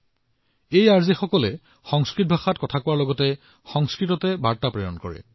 এই আৰ জেসকলে তেওঁলোকৰ শ্ৰোতাসকলক সংস্কৃত কথা কয় তেওঁলোকক সংস্কৃতত তথ্য প্ৰদান কৰে